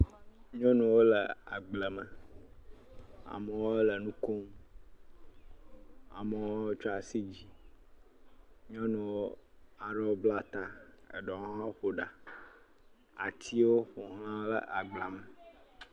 Nyɔnuwo le agble me. Amewo le nu kom, amewo tsɔ asi dzi. Nyɔnuwo aɖewo bla ta eɖewo hã ƒo ɖa. atiwo ƒoxla agblea me.